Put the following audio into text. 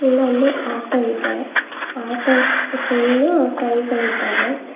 ಇಲ್ಲೊಂದು ಆಟೋ ಇದೆ auto full tray ಗಳಿದ್ದಾವೆ.